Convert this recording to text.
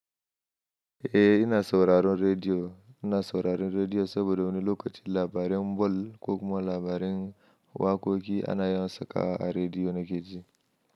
Eh ina sauraron rediyo, ina sauraron rediyo saboda wani lokaci labaran ball ko kuma labaran waƙoƙi ana yawan saka a rediyo na keji.